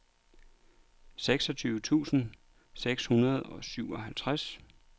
seksogtyve tusind seks hundrede og syvoghalvtreds